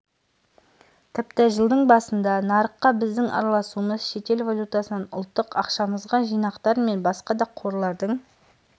тіпті жылдың басында нарыққа біздің араласуымыз шетел валютасынан ұлттық ақшамызға жинақтар мен басқа да қорлардың